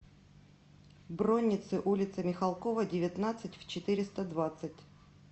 бронницы улица михалкова девятнадцать в четыреста двадцать